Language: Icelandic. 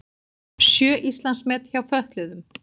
Sjö Íslandsmet hjá fötluðum